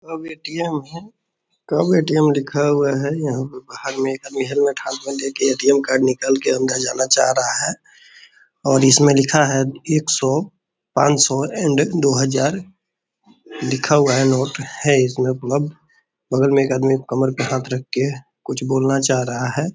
अब ए.टी.एम. में कब ए.टी.एम. लिखा हुआ है यहां पर बाहर में एक आदमी हेलमेट हाथ में लेके ए.टी.एम. कार्ड निकाल के अंदर जाना चाह रहा है और इसमें लिखा है एक सौ पान सौ एंड दो हजार लिखा हुआ है नोट है इसमें है उपलब्ध बगल में एक आदमी कमर पे हाथ रखकर कुछ बोलना चाह रहा है।